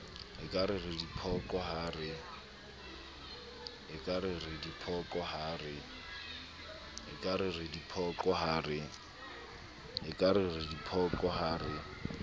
ekare re diphoqo ha re